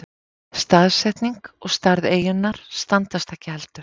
Staðsetning og stærð eyjunnar standast ekki heldur.